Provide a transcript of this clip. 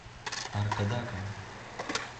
аркадаком